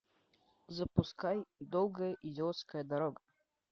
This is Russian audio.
запускай долгая идиотская дорога